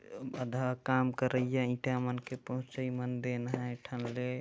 आधा काम करैया ईंटा मनके पहुचाई मन देन है एक ठन ले--